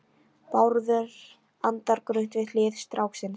Bárður andar grunnt við hlið stráksins.